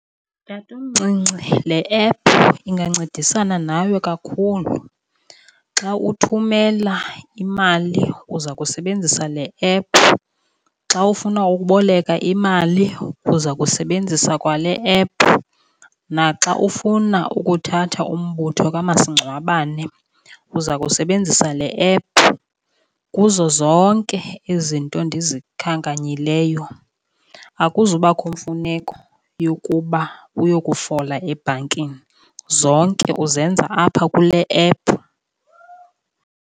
Tatomncinci, le app ingancedisana nawe kakhulu. Xa uthumela imali uza kusebenzisa le app, xa ufuna ukuboleka imali uza kusebenzisa kwale app, naxa ufuna ukuthatha umbutho kamasingcwabane uza kusebenzisa le app. Kuzo zonke izinto endizikhankanyileyo akuzubakho kwemfuneko yokuba uyokufola ebhankini, zonke uzenza apha kule app.